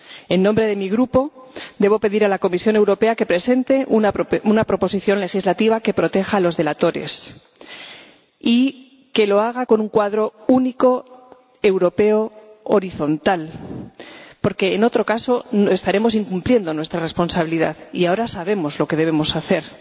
En nombre de mi grupo, debo pedir a la Comisión Europea que presente una propuesta legislativa que proteja a los delatores y que lo haga con un cuadro único europeo horizontal porque, en caso contrario, estaremos incumpliendo nuestra responsabilidad, y ahora sabemos lo que debemos hacer.